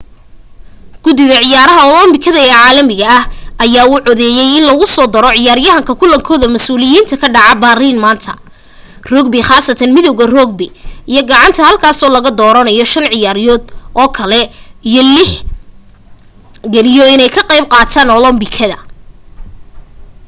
gudida ciyaaraha olobikada ee caalamiga ah ayaa u codeeyay in lagusoo daro ciyaaraha kulankooda masuuliyiinka ka dhacaya berlin maanta rugby khaasatan midawga rugby iyo gacanka halkaasoo laga dooranayo shan ciyaarood oo kale in loot ix galiyo inay ka qayb qaataan olombikada